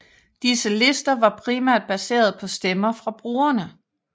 Disse lister var primært baseret på stemmer fra brugerne